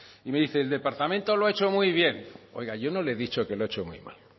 y me dice el departamento lo ha hecho muy bien oiga yo no le he dicho que lo ha hecho muy mal